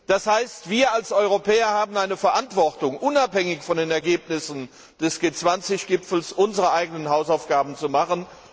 Das heißt, wir als Europäer haben eine Verantwortung, unabhängig von den Ergebnissen des G20 Gipfels unsere eigenen Hausaufgaben zu machen.